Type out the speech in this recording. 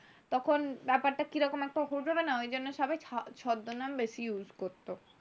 তখন ব্যাপারটা কিরকম একটা হয়ে যাবে না, ওই জন্য সবাই ছদ্মনাম বেশি use করতো।